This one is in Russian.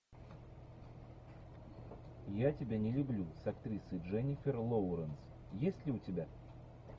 я тебя не люблю с актрисой дженнифер лоуренс есть ли у тебя